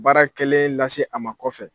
Baara kɛlen lase a ma kɔfɛ